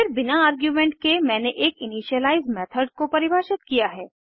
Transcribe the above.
फिर बिना आर्गुमेंट के मैंने एक इनिशियलाइज़ मेथड को परिभाषित किया है